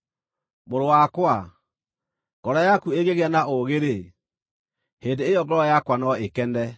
Mũrũ wakwa, ngoro yaku ĩngĩgĩa na ũũgĩ-rĩ, hĩndĩ ĩyo ngoro yakwa no ĩkene;